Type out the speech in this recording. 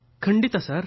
ಖಂಡಿತ ಸರ್